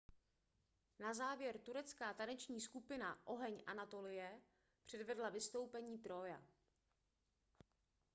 "na závěr turecká taneční skupina oheň anatolie předvedla vystoupení "trója"".